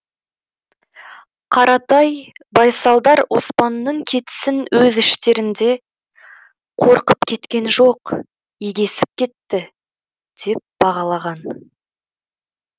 қаратай байсалдар оспанның кетісін өз іштерінде қорқып кеткен жоқ егесіп кетті деп бағалаған